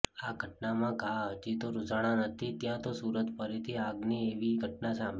આ ઘટનાના ઘા હજી તો રુઝાણાં નથી ત્યાં તો સૂરતમાં ફરીથી આગની એવી ઘટના સામે